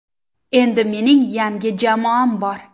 Endi mening yangi jamoam bor.